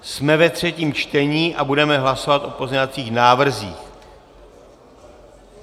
Jsme ve třetím čtení a budeme hlasovat o pozměňovacích návrzích.